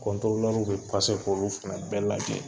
w be k'olu fɛnɛ bɛɛ lajɛ.